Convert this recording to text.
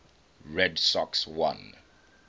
red sox won